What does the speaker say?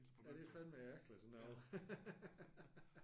Ja det er fandeme ærgerligt sådan noget